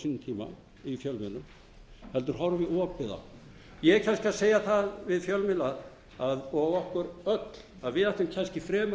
sínum tíma í fjárveitinganefnd heldur horfi opið á eg er kannski að segja það við fjölmiðla og okkur öll að við ættum kannski fremur að horfa á